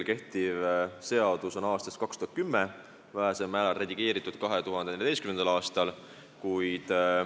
Kehtiv seadus on pärit aastast 2010, vähesel määral redigeeriti seda 2014. aastal.